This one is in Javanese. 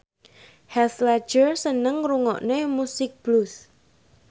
Heath Ledger seneng ngrungokne musik blues